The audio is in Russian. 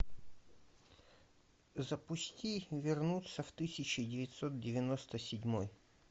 запусти вернуться в тысяча девятьсот девяносто седьмой